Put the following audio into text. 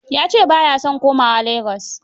Ya ce ba ya son komawa Lagos.